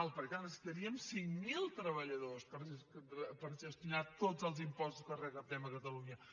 perquè clar necessitaríem cinc mil treballadors per gestionar tots els impostos que recaptem a catalunya